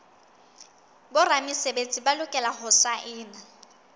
boramesebetsi ba lokela ho saena